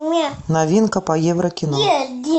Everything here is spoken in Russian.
новинка по евро кино